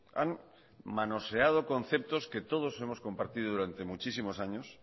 han manoseado conceptos que todos hemos compartido durante muchísimos años